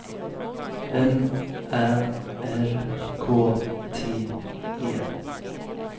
M Ä R K T E